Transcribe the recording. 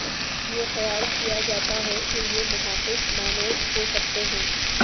یہ خیال کیا جاتا ہے کہ یہ محافظ مانوج ہو سکتے ہیں